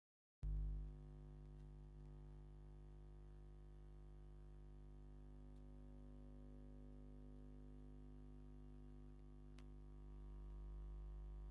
ንፋስ መውሀቢ ናይ ኤለክትሪክ ኣቅሓ ኮይኑ ኣብ ፃዕዳ ድሕረ ባይታ ይርከብ ። ዋጋ ናይቲ ኣቅሓ ክንደይ ይከውን ብተወሳኪ ኣበይ ቦታ ይምረት ?